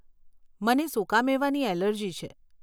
મને સુકા મેવાની એલર્જી છે.